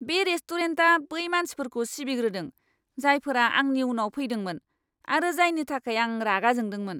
बे रेस्टुरेन्टा बै मानसिफोरखौ सिबिग्रोदों, जायफोरा आंनि उनाव फैदोंमोन आरो जायनि थाखाय आं रागा जोंदोंमोन!